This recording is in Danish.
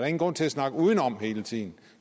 ingen grund til at snakke udenom hele tiden